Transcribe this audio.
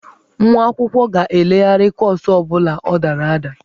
Nwa akwụkwọ ga-elegharị kọọsụ ọ bụla ọ dara ada.